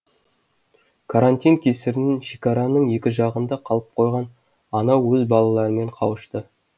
карантин кесірінен шекараның екі жағында қалып қойған ана өз балаларымен қауышты